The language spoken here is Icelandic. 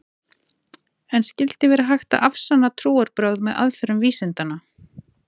En skyldi vera hægt að afsanna trúarbrögð með aðferðum vísindanna?